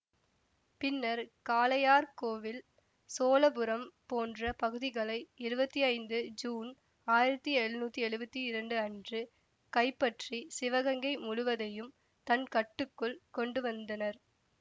பின்னர் காளையார் கோவில் சோழபுரம் போன்ற பகுதிகளை இருவத்தி ஐந்து ஜூன் ஆயிரத்தி எழுநூத்தி எழுவத்தி இரண்டு அன்று கைப்பற்றி சிவகங்கை முழுவதையும் தன் கட்டுக்குள் கொண்டுவந்தனர்